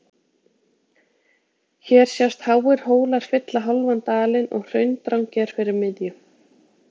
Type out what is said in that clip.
hér sjást háir hólar fylla hálfan dalinn og hraundrangi er fyrir miðju